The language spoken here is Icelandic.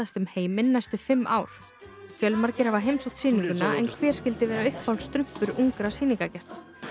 um heiminn næstu fimm ár fjölmargir hafa heimsótt sýninguna en hver skyldi vera uppáhalds strumpur ungra